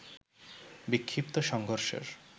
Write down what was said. বিক্ষিপ্ত সংঘর্ষের